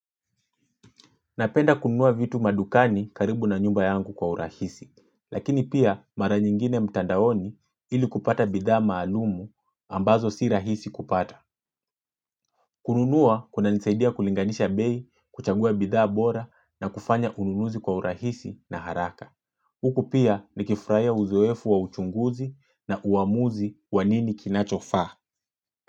Napenda kununua vitu madukani karibu na nyumba yangu kwa urahisi, lakini pia mara nyingine mtandaoni ili kupata bidhaa maalumu ambazo si rahisi kupata. Kununua kuna nisaidia kulinganisha bei kuchagua bidhaa bora na kufanya ununuzi kwa urahisi na haraka. Huku pia ni kifurahia uzoefu wa uchunguzi na uamuzi wanini kinachofa.